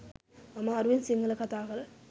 අමාරුවෙන් සිංහල කතා කල